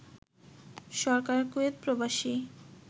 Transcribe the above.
সরকার Kuwait প্রবাসী